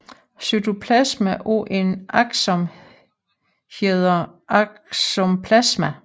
Cytoplasma af en akson hedder aksoplasma